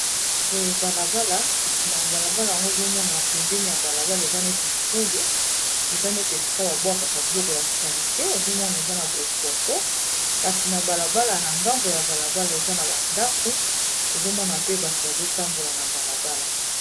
Boye balabala kasi na balabala yango ozomona pembeni ya balabala eza neti fulu eza neti esika babwakaka biloko ya salite ozomona eza na bosoto kasi na balabala na ngambo ya balabala eza na bandako ozomona pe bato bazotambola na balabala.